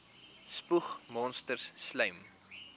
spoeg monsters slym